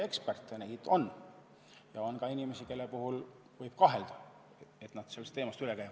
Neid ikka on, aga on ka inimesi, kelle puhul võib kahelda, et nad sellest teemast üle on.